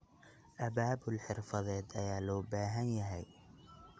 Abaabul xirfadeed ayaa loo baahan yahay.